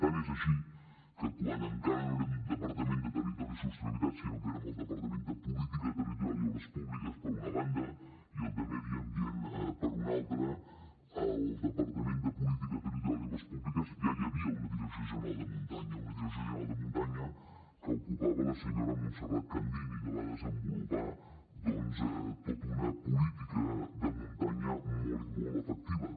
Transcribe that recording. tant és així que quan encara no érem el departament de territori i sostenibilitat sinó que érem el departament de política territorial i obres públiques per una banda i el de medi ambient per una altra al departament de política territorial i obres públiques ja hi havia una direcció general de muntanya una direcció de general de muntanya que ocupava la senyora montserrat candini que va desenvolupar doncs tota una política de muntanya molt i molt efectiva